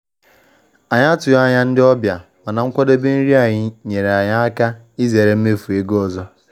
Anyị atụghị anya ndị ọbịa, mana nkwadebe nri anyị nyeere anyị aka izere mmefu ego ọzọ.